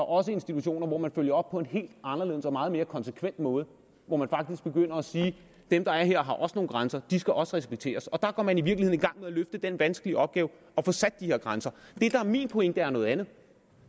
også institutioner hvor man følger op på en helt anderledes og meget mere konsekvent måde og hvor man faktisk begynder at sige dem der er her har også nogle grænser og de skal også respekteres og der går man i virkeligheden i gang med at løfte den vanskelige opgave at få sat de her grænser det der er min pointe er noget andet